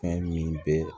Fɛn min bɛ